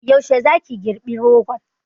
Yaushe za ki girɓi rogon?